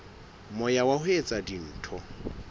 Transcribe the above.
moya wa ho etsa dintho